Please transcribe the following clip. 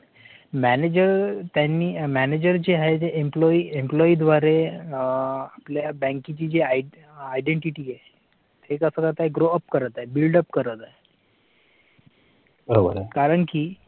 manager त्यांनी manager जे आहेत. employee employee द्वारे आपल्या बँकेची जे identity आहे ते कास करताय GROWUP करत आहे build up करत आहे. कारण कि